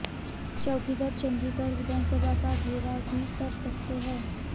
चौकीदार चंड़ीगढ़ विधानसभा का घेराव भी कर सकते हैं